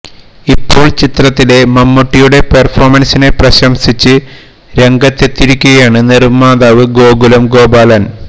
ഇപ്പോൾ ചിത്രത്തിലെ മമ്മൂട്ടിയുടെ പെർഫോമൻസിനെ പ്രശംസിച്ച് രംഗത്തെത്തിയിരിക്കുകയാണ് നിർമാതാവ് ഗോകുലം ഗോപാലൻ